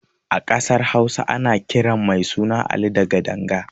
A ƙasar Hausa ana kiran mai suna Ali da Gadanga.